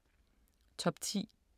Top 10